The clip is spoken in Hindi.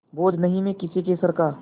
बोझ नहीं मैं किसी के सर का